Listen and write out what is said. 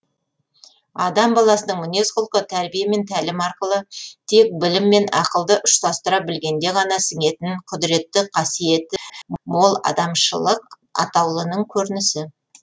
адам баласының мінез құлқы тәрбие мен тәлім арқылы тек білім мен ақылды ұштастыра білгенде ғана сіңетін құдіретті қасиеті мол адамшылық атаулының көрінісі